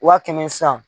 Wa kɛmɛ san